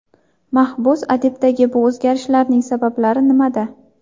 Mahbus adibdagi bu o‘zgarishning sabablari nimada?